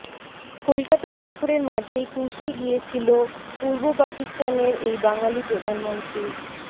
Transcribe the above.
কলকাতা সফরের মাঝেই কুর্সি গিয়েছিল পূর্ব পাকিস্তানের এই বাঙালি প্রধানমন্ত্রীর